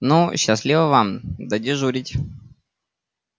ну счастливо вам додежурить